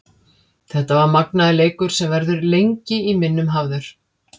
Þetta var magnaður leikur sem verður lengi í minnum hafður.